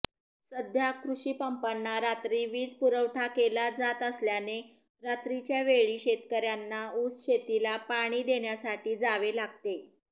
सध्या कृषीपंपांना रात्री वीजपुरवठा केला जात असल्याने रात्रीच्यावेळी शेतकऱयांना ऊसशेतीला पाणी देण्यासाठी जावे लागते